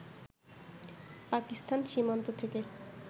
পাকিস্তান সীমান্ত থেকে